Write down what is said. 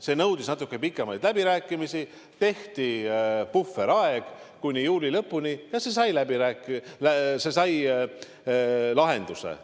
See nõudis natuke pikemaid läbirääkimisi, tehti puhveraeg kuni juuli lõpuni, ja probleem sai lahenduse.